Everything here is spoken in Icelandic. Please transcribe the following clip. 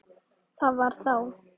Það var þá.